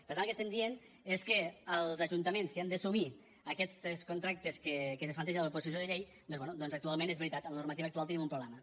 per tant el que estem dient és que els ajuntaments si han d’assumir aquests contractes que es plantegen a la proposició de llei doncs bé actualment és veritat amb la normativa actual tenim un problema